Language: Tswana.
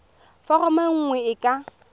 foromo e nngwe e ka